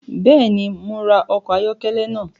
Bẹẹni, Mo rá ọkọ ayọkẹlẹ náà